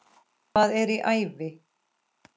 Hvað er í ævi?